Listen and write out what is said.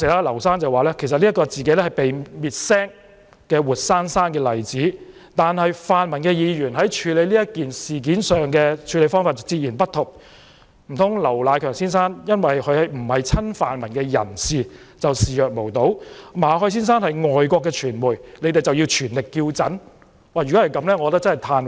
劉先生當時說自己是被滅聲的活生生例子，但泛民議員處理此事的方法截然不同，難道劉迺強先生不是親泛民人士就視若無睹，馬凱先生是外國傳媒人，他們就要全力叫陣？